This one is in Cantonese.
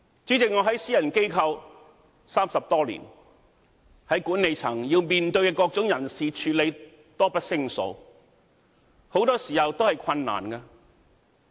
主席，我在私人機構工作30多年，在管理層面對各種人事的處理，多不勝數，很多時候都是困難的。